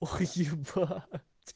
ох ебать